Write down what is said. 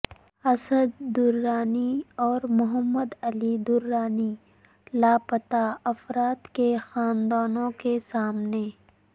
اسد درانی اور محمد علی درانی لاپتہ افراد کے خاندانوں کے سامنے